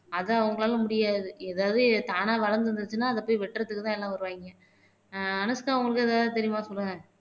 அத அவங்களால முடியாது ஏதாவது தானா வளர்ந்திருந்துச்சுன்னா அத போய் வெட்டுறதுக்குதான் எல்லாம் வருவாய்ங்க ஆஹ் அனுஷ்கா உங்களுக்கு ஏதாவது தெரியுமா சொல்லுங்க